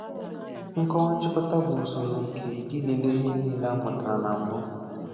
Nkọwa Nchịkọta bụ usoro nke ilele ihe niile a mụtara na mbụ.